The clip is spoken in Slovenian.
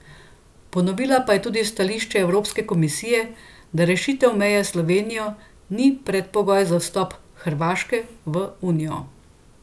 Ponovila pa je tudi stališče Evropske komisije, da rešitev meje s Slovenijo ni predpogoj za vstop Hrvaške v unijo.